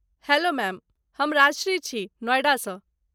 Hello ma'am, हम राजश्री छी, नोएडासँ।